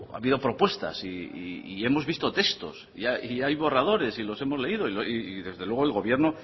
ha habido propuestas y hemos visto textos y hay borradores y los hemos leído y desde luego el gobierno